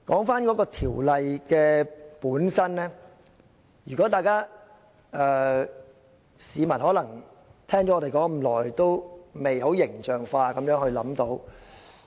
說回《條例草案》本身，市民可能聽我們說了這麼久，仍未能很形象化地理解。